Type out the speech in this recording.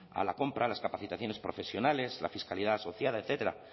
a la compra las capacitaciones profesionales la fiscalidad asociada etcétera